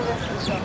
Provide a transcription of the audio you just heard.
Təkələşdi.